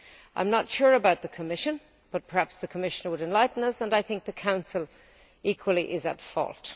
I am not sure about the Commission, but perhaps the Commission would enlighten us and I think the Council equally is at fault.